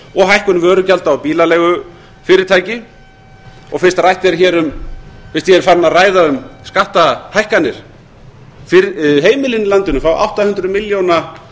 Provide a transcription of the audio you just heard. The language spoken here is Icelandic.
og hækkun bílagjalda á bílaleigufyrirtæki og fyrst ég er farinn að ræða um skattahækkanir heimilin í landinu fá átta hundruð milljóna